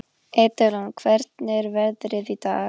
Edilon, hvernig er veðrið í dag?